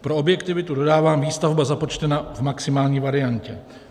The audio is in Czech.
Pro objektivitu dodávám - výstavba započtena v maximální variantě.